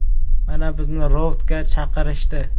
Mana, bizni ROVDga chaqirishdi.